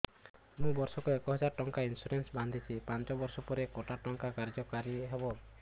ମୁ ବର୍ଷ କୁ ଏକ ହଜାରେ ଟଙ୍କା ଇନ୍ସୁରେନ୍ସ ବାନ୍ଧୁଛି ପାଞ୍ଚ ବର୍ଷ ପରେ କଟା ଟଙ୍କା କାର୍ଯ୍ୟ କାରି ହେବ